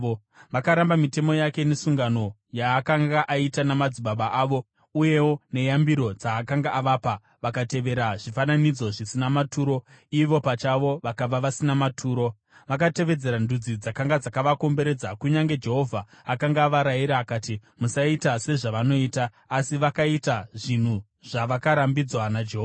Vakaramba mitemo yake nesungano yaakanga aita namadzibaba avo uyewo neyambiro dzaakanga avapa. Vakatevera zvifananidzo zvisina maturo ivo pachavo vakava vasina maturo. Vakatevedzera ndudzi dzakanga dzakavakomberedza kunyange Jehovha akanga avarayira akati, “Musaita sezvavanoita,” asi vakaita zvinhu zvavakarambidzwa naJehovha.